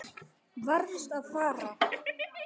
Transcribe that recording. Varðst að fara.